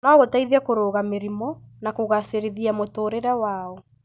no gũteithie kũrũga mĩrimũ na kũgaacĩrithia mũtũũrĩre wao.